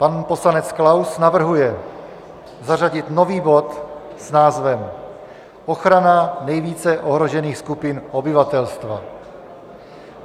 Pan poslanec Klaus navrhuje zařadit nový bod s názvem ochrana nejvíce ohrožených skupin obyvatelstva.